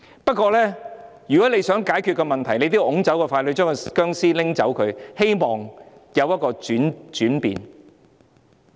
不過，如果想解決問題，我們也須推走傀儡，拿走這具僵屍，希望會有轉變。